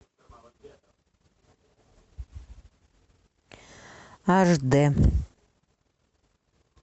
аш д